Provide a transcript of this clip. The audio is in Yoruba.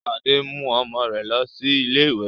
Sade ń mú ọmọ rẹ lọ sí ilé-ìwé